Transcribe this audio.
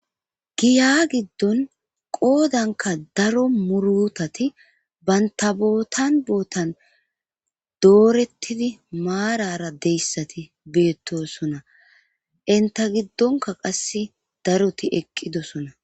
giya giddon qoodanka daro murutati baynta bootan bootan doorettidi maarara deyssati beettosona entta giddonka qasse daroti eqqidosona